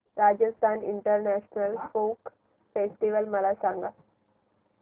Rajasthan international folk festival मला सांग